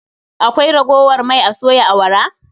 Akwai ragowar mai a soya awara?